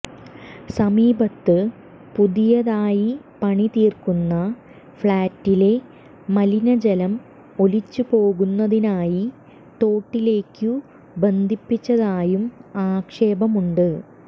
സമീപത്ത് പുതിയതായി പണിതീര്ക്കുന്ന ഫ്ളാറ്റിലെ മലിനജലം ഒലിച്ചു പോകുന്നതിനായി തോട്ടിലേക്കു ബന്ധിപ്പിച്ചതായും ആക്ഷേപമുണ്ട്